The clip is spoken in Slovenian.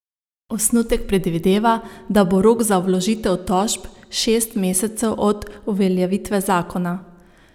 Osnutek predvideva, da bo rok za vložitev tožb šest mesecev od uveljavitve zakona.